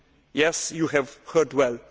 Yes, you have heard well.